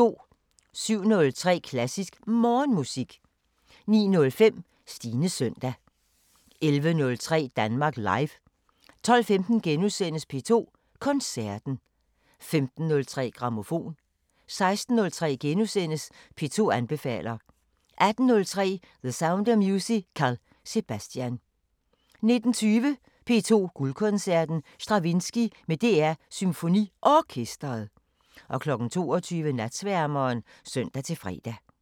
07:03: Klassisk Morgenmusik 09:05: Stines søndag 11:03: Danmark Live 12:15: P2 Koncerten * 15:03: Grammofon 16:03: P2 anbefaler * 18:03: The Sound of Musical: Sebastian 19:20: P2 Guldkoncerten: Stravinskij med DR SymfoniOrkestret 22:00: Natsværmeren (søn-fre)